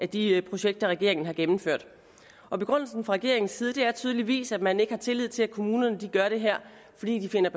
de projekter regeringen har gennemført og begrundelsen fra regeringens side er tydeligvis at man ikke har tillid til at kommunerne gør det her fordi de finder